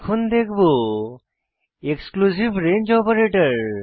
এখন দেখব exclusive range operator